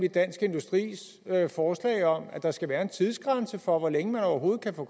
i dansk industris forslag om at der skal være en tidsgrænse for hvor længe man overhovedet kan få